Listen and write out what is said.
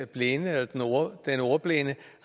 blinde eller den ordblinde